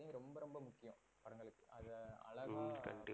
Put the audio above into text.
அழகா